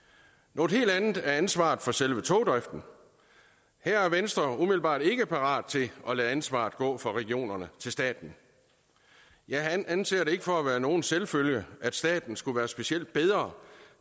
noget helt andet er ansvaret for selve togdriften her er venstre umiddelbart ikke parat til at lade ansvaret gå fra regionerne til staten jeg anser det ikke for at være nogen selvfølge at staten skulle være specielt meget bedre